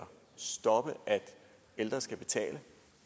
stoppe at ældre skal betale